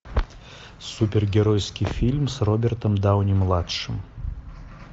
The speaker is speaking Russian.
супергеройский фильм с робертом дауни младшим